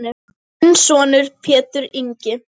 Þinn sonur Pétur Ingi.